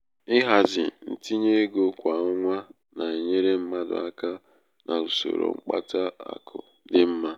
ịhazi ntinye ego kwa ọnwa na-enyere mmadụ aka n'usoro mkpata akụ dị mma.